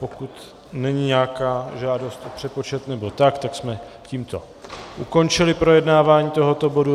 Pokud není nějaká žádost o přepočet nebo tak, tak jsme tímto ukončili projednávání tohoto bodu.